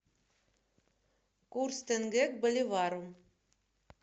курс тенге к боливару